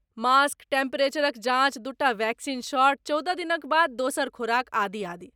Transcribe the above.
mask, टेम्परेचरक जाँच, दूटा वैक्सीन शॉट, चौदह दिनक बाद दोसर खोराक, आदि आदि